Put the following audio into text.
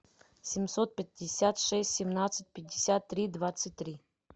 семьсот пятьдесят шесть семнадцать пятьдесят три двадцать три